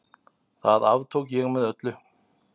Það aftók ég með öllu.